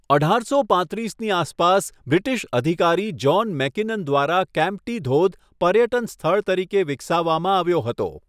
અઢારસો પાંત્રીસની આસપાસ બ્રિટિશ અધિકારી જ્હોન મેકિનન દ્વારા કેમ્પ્ટી ધોધ પર્યટન સ્થળ તરીકે વિકસાવવામાં આવ્યો હતો.